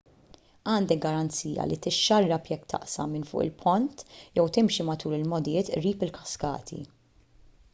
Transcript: għandek garanzija li tixxarrab jekk taqsam minn fuq il-pont jew timxi matul il-mogħdijiet qrib il-kaskati